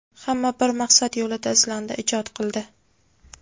Hamma bir maqsad yo‘lida izlandi, ijod qildi.